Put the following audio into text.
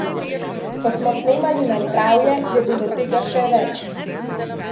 Ko smo snemali Na zdravje, je bilo tega še več.